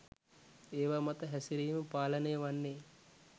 ඒවා මත හැසිරීම පාලනය වන්නෙ